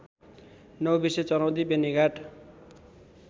Naubise Charaundi Benighat